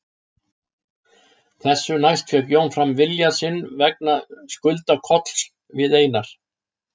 Þessu næst fékk Jón fram vilja sinn vegna skulda Kolls við Einar